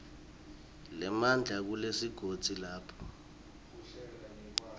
nemandla kulesigodzi lapho